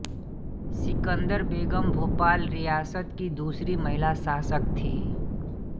सिकंदर बेगम भोपाल रियासत की दूसरी महिला शासक थी